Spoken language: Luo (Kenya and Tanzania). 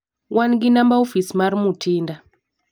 wan gi namba ofis mar Mutinda.